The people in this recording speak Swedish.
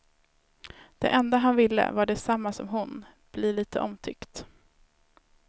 Det enda han ville var det samma som hon, bli lite omtyckt.